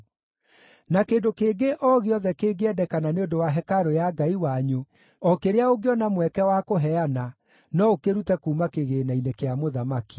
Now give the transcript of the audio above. Na kĩndũ kĩngĩ o gĩothe kĩngĩendekana nĩ ũndũ wa hekarũ ya Ngai wanyu, o kĩrĩa ũngĩona mweke wa kũheana, no ũkĩrute kuuma kĩgĩĩna-inĩ kĩa mũthamaki.